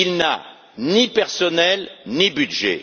Il n'a ni personnel, ni budget.